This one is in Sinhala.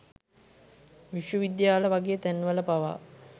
විශ්වවිද්‍යාල වගේ තැන් වල පවා